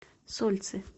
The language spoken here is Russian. сольцы